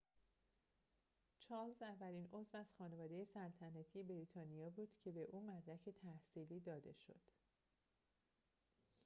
چارلز اولین عضو از خانواده سلطنتی بریتانیا بود که به او مدرک تحصیلی داده شده است